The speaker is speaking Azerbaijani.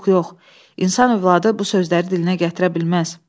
Yox, yox, insan övladı bu sözləri dilinə gətirə bilməz.